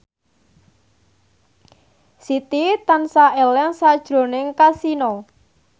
Siti tansah eling sakjroning Kasino